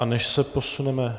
A než se posuneme...